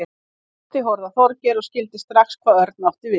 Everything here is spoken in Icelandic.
Tóti horfði á Þorgeir og skildi strax hvað Örn átti við.